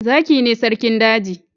Zaki ne sarkin daji